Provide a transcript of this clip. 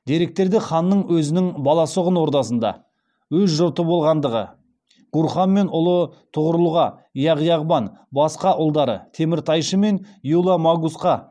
деректерде ханның өзінің баласұғын ордасында өз жұрты болғандығы гурхан мен ұлы тұғырұлға яғ яғбан басқа ұлдары теміртайшы мен юла магусқа